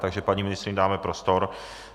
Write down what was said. Takže paní ministryni dáme prostor.